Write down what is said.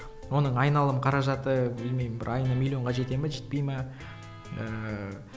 оның айналым қаражаты білмеймін бір айына миллионға жете ме жетпей ме ііі